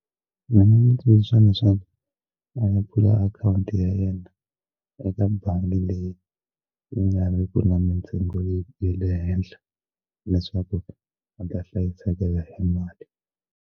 Ni nga n'wi tsundzuxa leswaku a ya pfula akhawunti ya yena eka bangi leyi yi nga ri ku na mintsengo ya le henhla leswaku u ta hlayisekela hi mali.